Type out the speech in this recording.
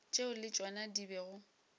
tšeo le tšona di bego